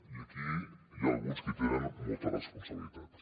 i aquí n’hi ha alguns que hi tenen molta responsabilitat